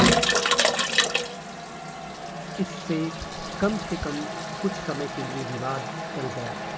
इससे कम से कम कुछ समय के लिए विवाद टल गया